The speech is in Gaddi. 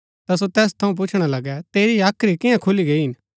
ता सो तैस थऊँ पुछणा लगै तेरी हाख्री कियां खुली गई हिन